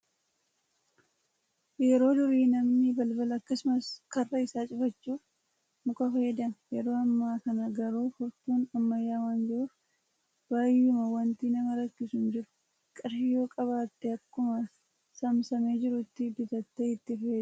Yeroo durii namni balbala akkasumas karra isaa cufachuuf muka fayyadama. Yeroo amma kana garuu furtuun ammayyaa waan jiruuf baay'uma wanti nama rakkisu hin jiru. Qarshii yoo qabaatte akkuma saamsamee jiruutti bitattee itti fayyadamuu dandeecha